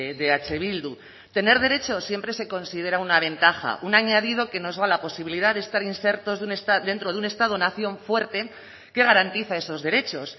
de eh bildu tener derecho siempre se considera una ventaja un añadido que nos da la posibilidad de estar insertos dentro de un estado nación fuerte que garantiza esos derechos